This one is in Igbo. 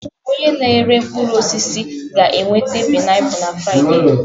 Onye na-ere mkpụrụ osisi ga-eweta painapulu na Fraịde.